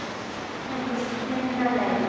Við fengum fínan leik.